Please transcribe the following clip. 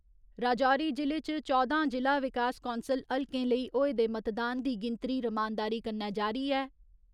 राजौरी जि'ले च चौदां जि'ला विकास कौंसल हलकें लेई होए दे मतदान दी गिनतरी रमानदारी कन्नै जारी ऐ।